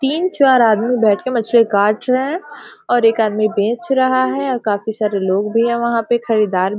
तीन-चार आदमी बैठ के मछली काट रहे है और एक आदमी बेच रहा है और काफी सरे लोग भी है वहां पे खड़े दा --